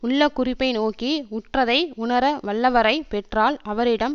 உள்ள குறிப்பை நோக்கி உற்றதை உணரவல்லவரைப் பெற்றால் அவரிடம்